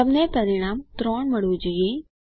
તમને પરિણામ 3 મળવું જોઈએ